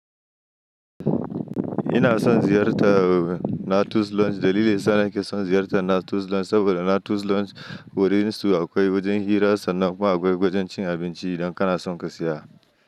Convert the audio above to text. Ina son ziyarta Nature Lounge. Dalilin sa ni ke son ziyarta Nature Lounge saboda Nature Lounge wurinsu akwai wajen hira sannan kuma akwai wajen cin abinci idan kana son ka siya.